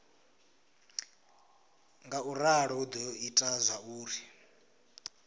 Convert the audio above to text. ngauralo hu do ita zwauri